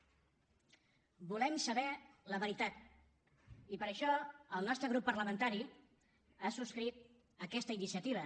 volem saber la veritat i per això el nostre grup parlamentari ha subscrit aquesta iniciativa